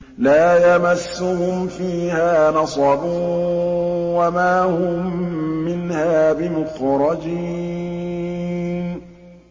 لَا يَمَسُّهُمْ فِيهَا نَصَبٌ وَمَا هُم مِّنْهَا بِمُخْرَجِينَ